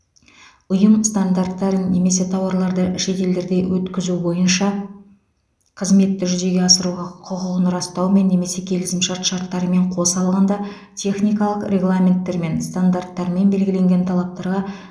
ұйым стандарттарын немесе тауарларды шетелдерде өткізу бойынша қызметті жүзеге асыруға құқығын растаумен немесе келісімшарт шарттарымен қоса алғанда техникалық регламенттермен стандарттармен белгіленген талаптарға